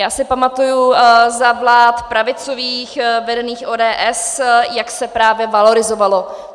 Já si pamatuji, za vlád pravicových, vedených ODS, jak se právě valorizovalo.